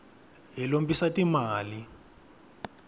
hi lombisa ti mali